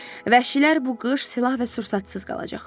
Vəhşilər bu qış silah və sursatsız qalacaqlar.